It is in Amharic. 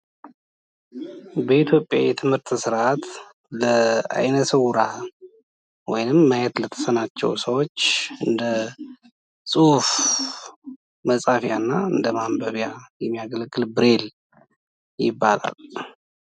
በኢትዮጵያ የትምህርት ስርዓት ለአይነ-ስዉራን ወይም ማየት ለተሳናቸው ሰዎች እንደ ጽሁፍ መጻፊያ እና እንደ ማንበቢያ የሚያገለግል ብሬል ይባላል።